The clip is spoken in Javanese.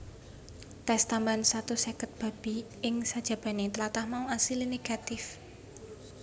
Tès tambahan satus seket babi ing sajabanè tlatah mau asilé negatif